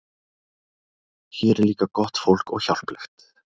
Hér er líka gott fólk og hjálplegt.